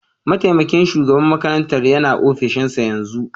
Mataimakin shugaban makarantar yana ofishinsa yanzu